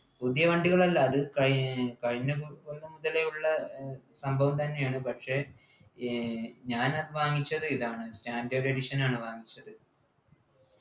പുതിയ വണ്ടികളല്ല അത് കൈ കഴിഞ്ഞ കൊല്ലം മുതലെ ഉള്ള ഏർ സംഭാവന തന്നെയാണ് പക്ഷെ ഏർ ഞാൻ വാങ്ങിച്ചത് ഇതാണ് standard edition ആണ് വാങ്ങിച്ചത്